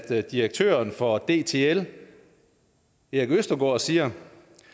at direktøren for dtl erik østergaard siger